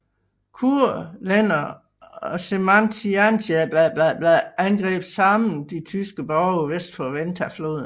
Kurlændere og žemaitijanerne angreb sammen de tyske borge vest for Ventafloden